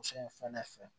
Muso in fana fɛ